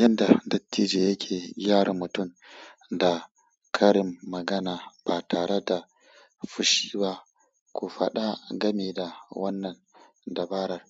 Yanda dattijo yake gyara mutum da karin magana ba tareda fushi ba. Ku faɗa gameda wannan dabarar.